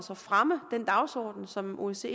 fremme den dagsorden som osce